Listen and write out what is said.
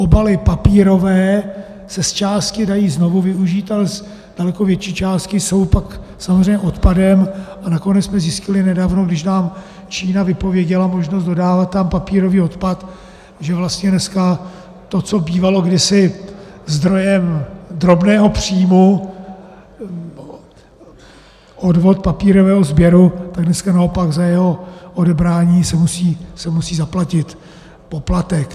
Obaly papírové se zčásti dají znovu využít, ale z daleko větší části jsou pak samozřejmě odpadem, a nakonec jsme zjistili nedávno, když nám Čína vypověděla možnost dodávat tam papírový odpad, že vlastně dneska to, co bývalo kdysi zdrojem drobného příjmu, odvod papírového sběru, tak dneska naopak za jeho odebrání se musí zaplatit poplatek.